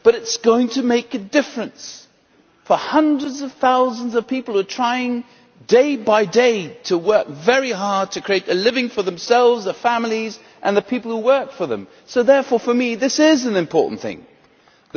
But it is going to make a difference for hundreds of thousands of people who are trying, day by day, to work very hard to create a living for themselves, their families and the people who work for them. Therefore, this is an important thing for me.